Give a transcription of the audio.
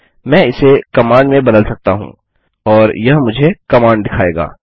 मैं इसे कमांड में बदल सकता हूँ और यह मुझे कमांड दिखाएगा